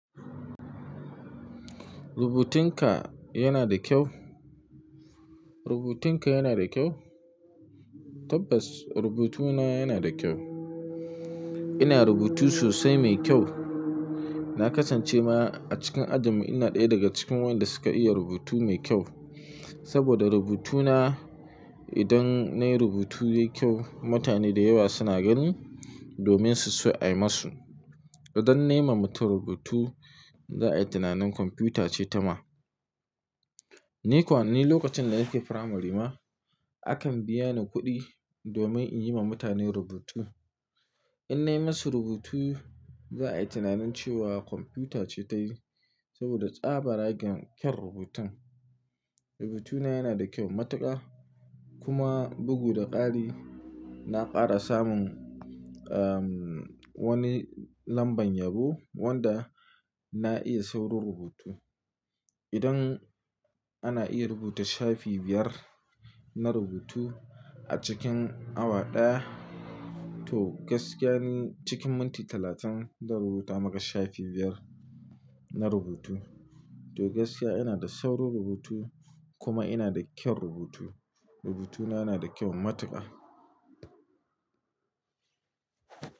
Rubutunka yana da kyau? Rubutunka yana da kyau? Tabbas rubutuna yana da kyau. Ina rubutu sosai mai kyau. Na kasance ma a cikin ajinmu ina ɗaya daga cikin wanda suka iya rubutu mai kyau. Saboda rubutuna idan nayi rubutu yayi kyau, mutane da yawa suna ganin domin su so a yi musu. Idan na yi wa mutum rubutu za a yi tunanin kwamfuta ce ta ma. Ni kuwa, ni lokacin da nake firamari ma akan biya ni kuɗi domin in yi wa mutane rubutu. In na yi masu rubutu za a yi tunanin cewa kwamfuta ce ta yi saboda tsabaragen kyaun rubutun. Rubutuna yana da kyau matuƙa kuma bugu da ƙari. Na ƙara samun, ahh wani lambar yabo wanda na iya saurin rubutu. Idan ana iya rubuta shafe biyar na rubutu a cikin awa ɗaya, to gaskiya ni cikin minti talatin zan rubuta maka shafe biyar na rubutu. To gaskiya ina da saurin rubutu kuma ina da kyar rubutu. Rubutuna yana da kyau matuƙa.